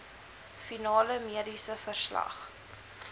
finale mediese verslag